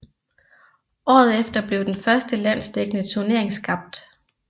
Året efter blev den første landsdækkende turnering skabt